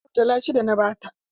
Murtala shida na ba ta.